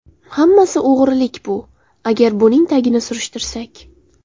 Hammasi o‘g‘rilik bu, agar buning tagini surishtirsak.